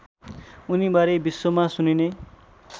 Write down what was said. उनीबारे विश्वमा सुनिने